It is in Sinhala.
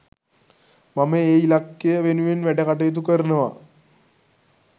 මම ඒ ඉලක්කය වෙනුවෙන් වැඩකටයුතු කරනවා.